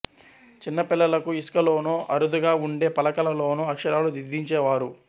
చిన్న పిల్లలకు ఇసుక లోనో అరుదుగా వుండే పలకల లోనో అక్షరాలు దిద్దించే వారు